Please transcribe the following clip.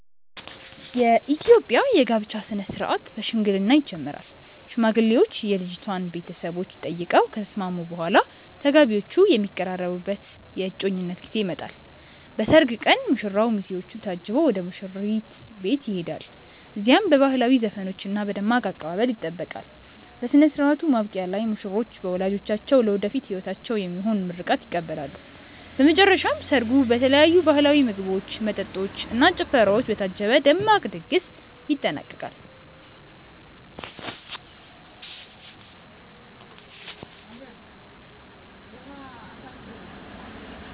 የኢትዮጵያ የጋብቻ ሥነ ሥርዓት በሽምግልና ይጀምራል። ሽማግሌዎች የልጅቷን ቤተሰቦች ጠይቀው ከተስማሙ በኋላ፣ ተጋቢዎቹ የሚቀራረቡበት የእጮኝነት ጊዜ ይመጣል። በሰርግ ቀን ሙሽራው በሚዜዎቹ ታጅቦ ወደ ሙሽሪት ቤት ይሄዳል። እዚያም በባህላዊ ዘፈኖችና በደማቅ አቀባበል ይጠበቃል። በሥነ ሥርዓቱ ማብቂያ ላይ ሙሽሮች በወላጆቻቸው ለወደፊት ሕይወታቸው የሚሆን ምርቃት ይቀበላሉ። በመጨረሻም ሰርጉ በተለያዩ ባህላዊ ምግቦች፣ መጠጦች እና ጭፈራዎች በታጀበ ደማቅ ድግስ ይጠናቀቃል።